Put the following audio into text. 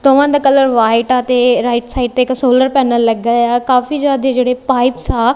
ਦੋਹਵਾਂ ਦਾ colour white ਆ ਤੇ ਰਾਈਟ ਸਾਈਡ ਤੇ ਇੱਕ ਸੋਲਰ ਪੈਨਲ ਲੱਗਾ ਹੋਇਆ ਏ ਆ ਕਾਫੀ ਜਿਆਦੇ ਜਿਹੜੇ ਪਾਈਪਸ ਆ--